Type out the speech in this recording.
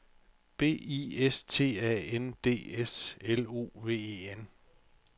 B I S T A N D S L O V E N